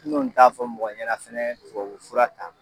N dun t'a fɔ mɔgɔ ɲɛna fɛnɛ tuwawu fura ta